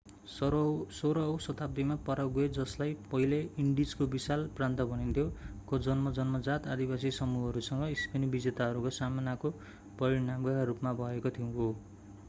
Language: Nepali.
16 औँ शताब्दीमा पाराग्वे जसलाई पहिले इन्डिजको विशाल प्रान्त भनिन्थ्यो”,को जन्म जन्मजात आदिवासी समूहहरूसँग स्पेनी विजेताहरूको सामनाको परिणामका रूपमा भएको हो।